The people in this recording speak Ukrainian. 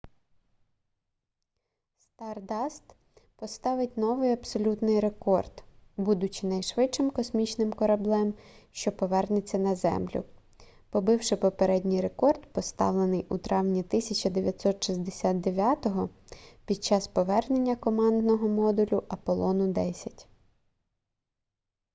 стардаст поставить новий абсолютний рекорд будучи найшвидшим космічним кореблем що повернеться на землю побивши попередній рекорд встановлений у травні 1969 під час повернення командного модулю аполлону 10